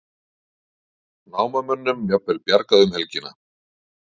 Námamönnum jafnvel bjargað um helgina